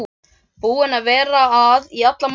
Búin að vera að í allan morgun.